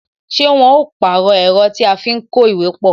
Ṣé wọn ó pàrọ̀ ẹ̀rọ tí a fi ń kó ìwé pọ?